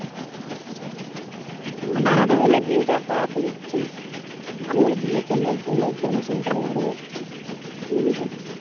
না না ধরলে বিয়েটা করা তো খুব ভালো বিয়ে করলে ধরলে জনসংখ্যা বাড়বে, বুঝলি তো?